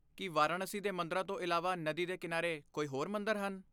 ਕੀ ਵਾਰਾਣਸੀ ਦੇ ਮੰਦਰਾਂ ਤੋਂ ਇਲਾਵਾ ਨਦੀ ਦੇ ਕਿਨਾਰੇ ਕੋਈ ਹੋਰ ਮੰਦਰ ਹਨ?